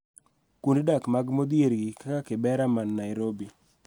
Kuonde dak mag modhier gi, kaka Kibera man Nairobi,